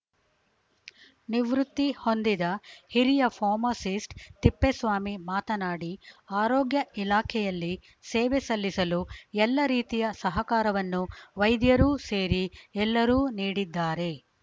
ನಿವೃತ್ತಿ ಹೊಂದಿದ ಹಿರಿಯ ಫಾರ್ಮಸಿಸ್ಟ್ ತಿಪ್ಪೇಸ್ವಾಮಿ ಮಾತನಾಡಿ ಆರೋಗ್ಯ ಇಲಾಖೆಯಲ್ಲಿ ಸೇವೆ ಸಲ್ಲಿಸಲು ಎಲ್ಲ ರೀತಿಯ ಸಹಕಾರವನ್ನು ವೈದ್ಯರೂ ಸೇರಿ ಎಲ್ಲರೂ ನೀಡಿದ್ದಾರೆ